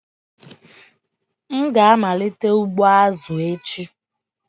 M ga-amalite ugbo azụ echi.